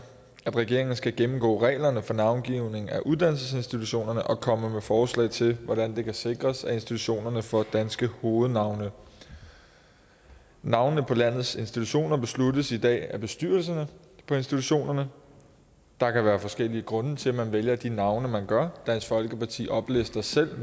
at regeringen skal gennemgå reglerne for navngivning af uddannelsesinstitutioner og komme med forslag til hvordan det kan sikres at institutionerne får danske hovednavne navnene på landets institutioner besluttes i dag af bestyrelserne på institutionerne der kan være forskellige grunde til at man vælger de navne man gør dansk folkeparti oplister selv